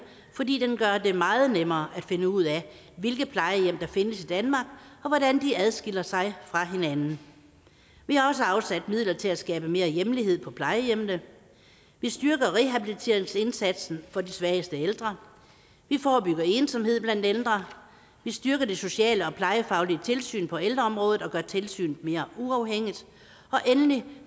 fordi den gør det meget nemmere at finde ud af hvilke plejehjem der findes i danmark og hvordan de adskiller sig fra hinanden vi har også afsat midler til at skabe mere hjemlighed på plejehjemmene vi styrker rehabiliteringsindsatsen for de svageste ældre vi forebygger ensomhed blandt ældre vi styrker det sociale og plejefaglige tilsyn på ældreområdet og gør tilsynet mere uafhængigt og endelig